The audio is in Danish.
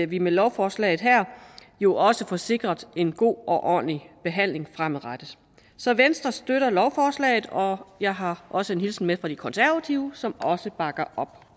vi med lovforslaget her jo også får sikret en god og ordentlig behandling fremadrettet så venstre støtter lovforslaget og jeg har også en hilsen med fra de konservative som også bakker op